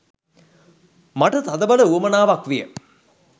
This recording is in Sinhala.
මට තදබල උවමනාවක් විය.